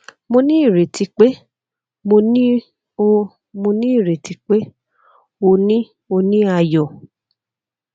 mo ni ireti pe mo ni o ni ireti pe o ni o ni ayọ